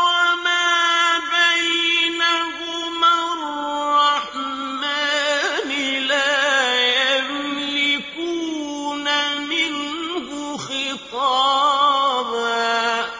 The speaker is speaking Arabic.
وَمَا بَيْنَهُمَا الرَّحْمَٰنِ ۖ لَا يَمْلِكُونَ مِنْهُ خِطَابًا